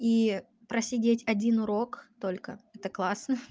и просидеть один урок только это классно